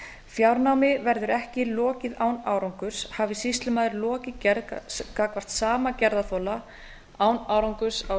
fjárnámi verður ekki lokið án árangurs hafi sýslumaður lokið gerð gagnvart sama gerðarþola án árangurs á